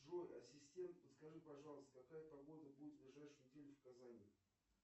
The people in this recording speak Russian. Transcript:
джой ассистент подскажи пожалуйста какая погода будет ближайшую неделю в казани